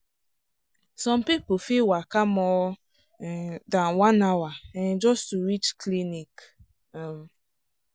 some people fit waka more um than one hour um just to reach clinic. um